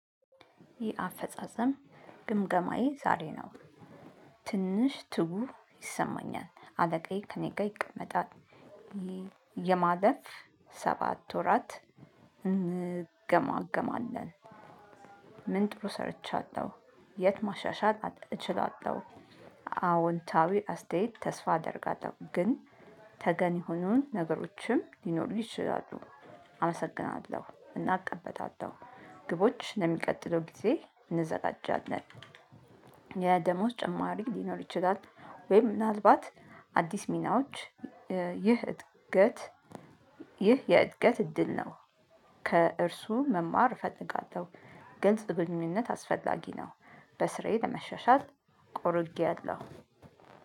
ይህ አፈጻጸም ግምገማዬ ዛሬ ነው። ትንሽ ትጉህ ይሰማኛል አለቃዬ ከእኔ ጋር ይቀመጣል ይሄ የማለፍ ሰባት ወራት እንገማገማለን። ምን ጥሩ ሰርቻለሁ? የት ማሻሻት እችላለሁ? አዎንታዊ አስተያየት ተስፋ አደርጋለሁ። ግን ተገን የሆኑን ነገሮችም ሊኖሩ ይችላሉ። አመሰግናለሁ እናእቀበላለሁ። ግቦች ለሚቀጥለው ጊዜ እንዘጋጃለን። የ ደሞዝ ጭማሪ ሊኖር ይችላል? ወይ ምናልባት አዲስ ሚናዎች። ይህ እድገት ይህ የእድገት እድል ነው። ከእርሱ መማር እፈልጋለሁ። ግልጽ ግንኙነት አስፈላጊ ነው። በስራዬ ለመሸሻል ቆርጌለሁ።